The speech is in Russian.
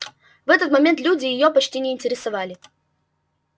в этот момент люди её почти не интересовали